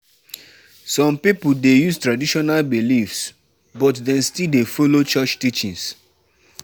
E no easy to balance our culture culture wit modern religious practices.